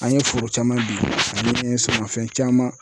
An ye foro caman bin fɛn caman